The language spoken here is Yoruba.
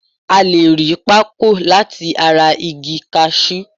A le ri Pako lati ara igi kashu